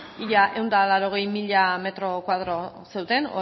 ia ehun eta laurogei mila metro kuadro zeunden